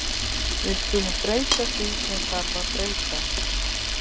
Við skulum breyta því sem þarf að breyta.